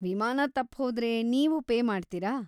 ವಿಮಾನ ತಪ್ಹೋದ್ರೆ ನೀವು ಪೇ ಮಾಡ್ತೀರಾ?